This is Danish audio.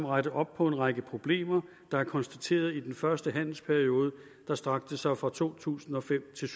rette op på en række problemer der er konstateret i den første handelsperiode der strakte sig fra to tusind og fem til